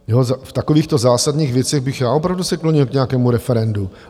V takovýchto zásadních věcech bych já opravdu se klonil k nějakému referendu.